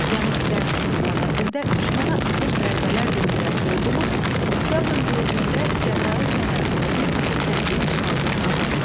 Cənub-qərb istiqamətində düşmənə ağır zərbələr endirən ordumuz oktyabrın 4-də Cəbrayıl şəhərini və bir neçə kəndi işğaldan azad etdi.